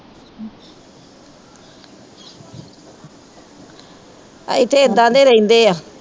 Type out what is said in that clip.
ਇੱਥੇ ਏਦਾਂ ਦੇ ਰਹਿੰਦੇ ਆ।